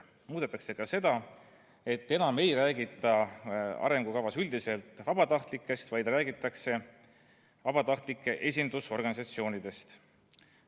Muudetakse ka seda, et enam ei räägita arengukavas üldiselt vabatahtlikest, vaid räägitakse vabatahtlike esindusorganisatsioonidest.